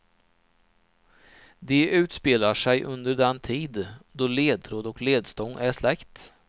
De utspelar sig under den tid då ledtråd och ledstång är släkt.